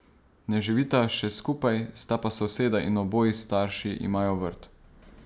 Ne živita še skupaj, sta pa soseda in oboji starši imajo vrt.